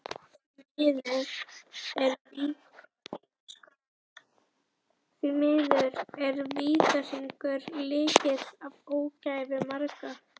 Því miður er vítahringur lykillinn að ógæfu margra.